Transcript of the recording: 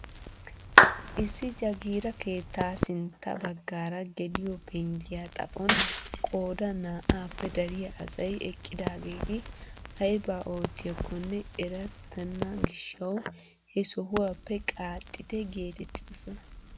Issi jaagira keettaa sintta baggaara geliyoo penggiyaa xaphon qoodan naa"appe daryaa asay eqqidageti aybaa oottiyakonne erettena gishshawu he sohuwaappe qaaxitte getettidosona!